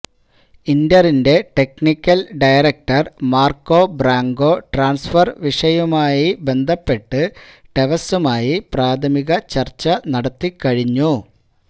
ഇന്ററിന്റെ technical director Marco Branca transfer വിഷയവുമായി ബന്ധപ്പെട്ട് ടെവസുമായി പ്രാഥമിക ചര്ച്ച നടത്തി കഴിഞ്ഞു